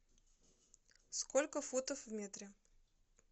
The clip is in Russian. сколько футов в метре